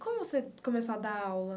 Como você começou a dar aula?